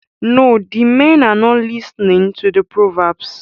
No, the men are not listening to the proverbs